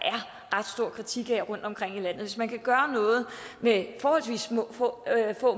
ret stor kritik af rundtomkring i landet hvis man kan gøre noget med forholdsvis få